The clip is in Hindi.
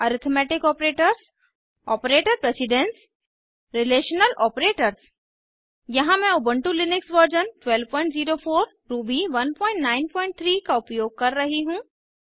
arithmetic operators operator precedence relational operators यहाँ मैं उबन्टु लिनक्स वर्जन 1204 रूबी 193 का उपयोग कर रही हूँ